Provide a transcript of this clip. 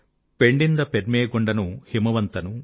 పెణ్ణింద పెర్మె గొండను హిమవంతను